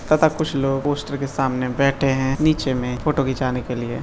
तथा कुछ लोग पोस्टर के सामने बैठे हैं नीचे में फोटो खींचाने के लिए।